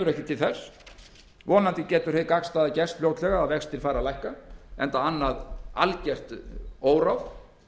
ekki til þess vonandi getur hið gagnstæða gerst fljótlega að vextir fari að lækka enda annað algert óráð